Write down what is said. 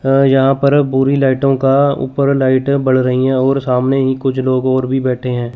हा यहां पर बुरी लाइटों का ऊपर लाइट बढ़ रही है और सामने ही कुछ लोग और भी बैठे हैं।